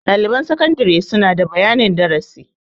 Ɗaliban sakandare suna da bayanin darasi.